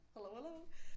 Hallo hallo